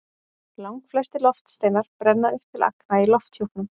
Langflestir loftsteinar brenna upp til agna í lofthjúpnum.